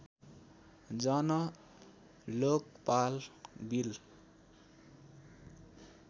Jan Lokpal bill